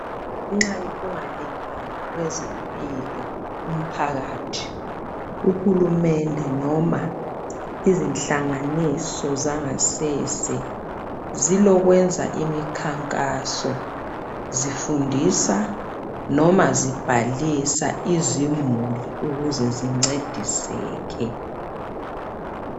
Ngenxa yoku ngalingani kwezempilo kumphakathi . Uhulumende noma izinhlanganiso zangasese zilokwenza imikhankaso zifundisa noma zibhalisa izimuli ukuze zincediseke .